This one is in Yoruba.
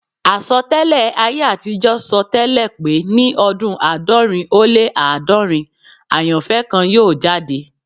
Àsọtẹ́lẹ̀ ayé àtijọ́ sọ tẹ́lẹ̀ pé ní ọdún àádọ́rin ó lé àádọ́rin [400], àyànfẹ́ kan yóò jáde